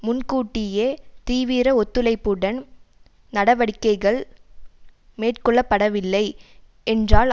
முன்கூட்டியே தீவிர ஒத்துழைப்புடன் நடவடிக்கைகள் மேற்கொள்ளப்படவில்லை என்றால்